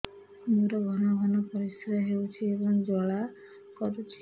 ମୋର ଘନ ଘନ ପରିଶ୍ରା ହେଉଛି ଏବଂ ଜ୍ୱାଳା କରୁଛି